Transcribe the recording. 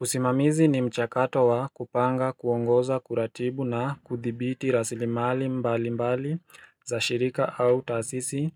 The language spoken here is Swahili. usimamizi ni mchakato wa kupanga kuongoza kuratibu na kuthibiti rasilimali mbali mbali za shirika au taasisi